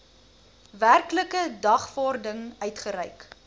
werklike dagvaarding uitgereik